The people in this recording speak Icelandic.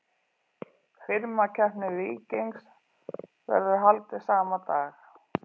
Firmakeppni Víkings verður haldið sama dag.